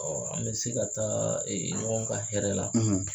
an bɛ se ka taa ɲɔgɔn ka hɛrɛ la.